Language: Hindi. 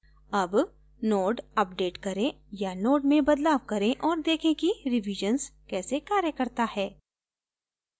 अब node अपडेट करें या node में बदलाव करें और देखें कि revisions कैसे कार्य करता है